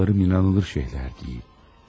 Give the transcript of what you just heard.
Eşitdiklərim inanılmaz şeylər deyil.